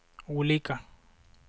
olika